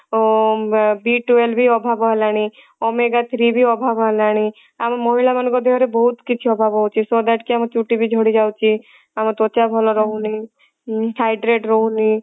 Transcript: ଅ b twelve ବି ଅଭାବ ହେଲାଣି omega three ବି ଅଭାବ ହେଲାଣି ଆମ ମହିଳା ମାନଙ୍କ ଦେହ ରେ ବହୁତ କିଛି ଅଭାବ ହଉଛି so that କି ଆମ ଚୁଟି ବି ଝଡି ଯାଉଛି ଆମ ତ୍ଵଚା ଭଲ ରହୁନି ଉଁ hydrate ରହୁନି